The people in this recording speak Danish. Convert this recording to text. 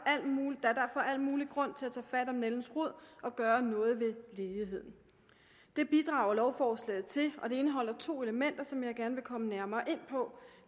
al mulig grund til at tage fat om nældens rod og gøre noget ved ledigheden det bidrager lovforslaget til og det indeholder to elementer som jeg gerne vil komme nærmere ind på